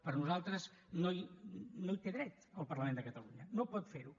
per nosaltres no hi té dret el parlament de catalunya no pot fer ho